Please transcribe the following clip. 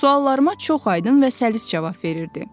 Suallarıma çox aydın və səlis cavab verirdi.